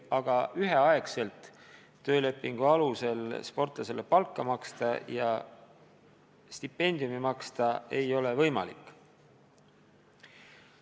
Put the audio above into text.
Aga üheaegselt töölepingu alusel sportlasele palka maksta ja stipendiumi maksta ei ole võimalik.